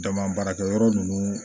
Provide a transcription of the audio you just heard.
Jama baarakɛyɔrɔ ninnu